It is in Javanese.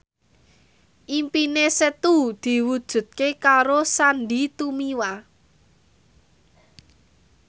impine Setu diwujudke karo Sandy Tumiwa